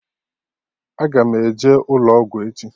Aga m eje ụlọ ọgwụ echi